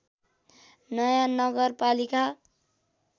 नयाँ नगरपालिका